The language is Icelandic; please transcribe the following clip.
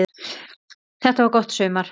Þetta var gott sumar.